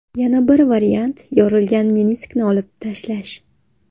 Yana bir variant yorilgan meniskni olib tashlash.